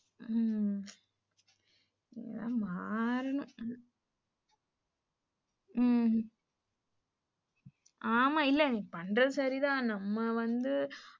உம் மாறலாம் உம் ஆமா இல்ல பண்றது சரிதான் நம்ம வந்து,